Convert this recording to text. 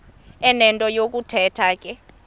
enento yokuthetha ke